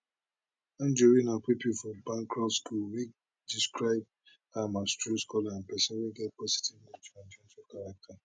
anjorin na pupil for bancroft school wey describe am as true scholar and pesin wey get positive